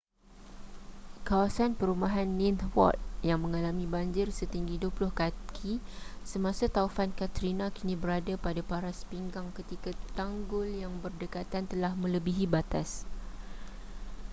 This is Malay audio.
kawasan perumahan ninth ward yang mengalami banjir setinggi 20 kaki semasa taufan katrina kini berada pada paras pinggang ketika tanggul yang berdekatan telah melebihi batas